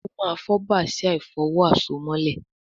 o ma fo Bàsíà ìfọ̀wo àsomọ́lẹ̀